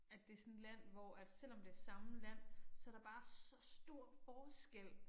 At det sådan et land hvor at selvom det samme land så der bare så stor forskel